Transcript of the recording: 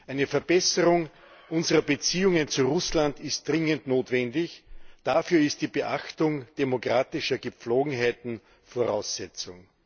Eine Verbesserung unserer Beziehungen zu Russland ist dringend notwendig, dafür ist die Beachtung demokratischer Gepflogenheiten Voraussetzung.